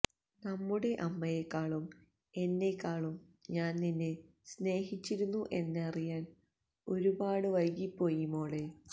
നമ്മുടെ അമ്മയെക്കാളും എന്നെക്കാളും ഞാന് നിന്നെ സ്നേഹിച്ചിരുന്നു എന്നറിയാന് ഒരുപാടി വൈകിപ്പോയി മോളെ